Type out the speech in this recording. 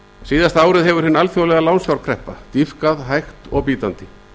síðasta árið hefur hin alþjóðlega lánsfjárkreppa dýpkað hægt og bítandi